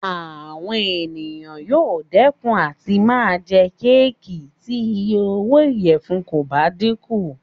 Àwọn èèyàn yóò dẹ́kun láti máa jẹ kéèkì tí iye owó ìyẹ̀fun kò bá dínkù